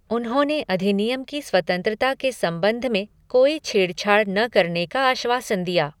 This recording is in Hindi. उन्होंने अधिनियम की स्वतंत्रता के संबंध में कोई छेडछाड़ न करने का आश्वासन दिया।